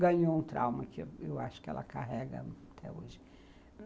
ganhou um trauma que eu acho que ela carrega até hoje.